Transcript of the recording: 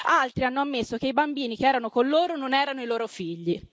Altri hanno ammesso che i bambini che erano con loro non erano i loro figli.